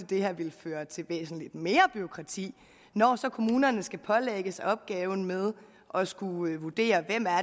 det her vil føre til væsentlig mere bureaukrati når kommunerne skal pålægges opgaven med at skulle vurdere hvem